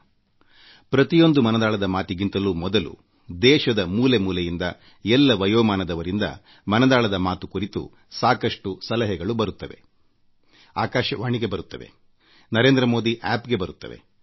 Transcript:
ನನ್ನ ಪ್ರತಿಯೊಂದು ಮನದಾಳದ ಮಾತಿಗೆ ಮುನ್ನ ಆಕಾಶವಾಣಿ ನರೇಂದ್ರ ಮೋದಿ ಆಪ್ ಮೈ ಗೌಗೆ ದೇಶದ ಮೂಲೆ ಮೂಲೆಗಳಿಂದ ಎಲ್ಲ ವಯೋಮಾನದವರಿಂದ ದೂರವಾಣಿ ಮೂಲಕ ಮುದ್ರಿತ ಸಂದೇಶದ ರೂಪದಲ್ಲಿ ಸಾಕಷ್ಟು ಸಲಹೆಗಳು ಬರುತ್ತವೆ